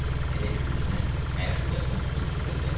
Elə ki üzünü məşuqəsinə tutub bu sözləri oxudu.